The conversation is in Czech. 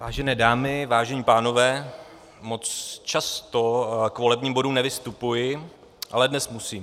Vážené dámy, vážení pánové, moc často k volebním bodům nevystupuji, ale dnes musím.